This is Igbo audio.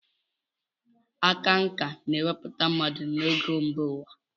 Aka nkà na-ewepụta mmadụ n'ogo mba ụwa.